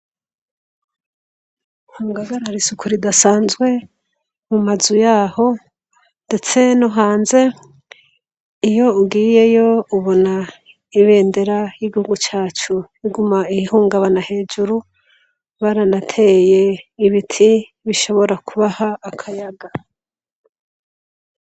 Hungagara risuku ridasanzwe mu mazu yaho, ndetse no hanze iyo ugiyeyo ubona ibendera y'igihugu cacu iguma igihungabana hejuru baranateye ibiti bishobora kubaha akayaga.